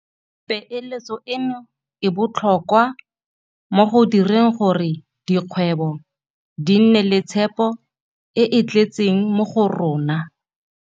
Peeletso eno e botlhokwa mo go direng gore dikgwebo di nne le tshepo e e tletseng mo go rona.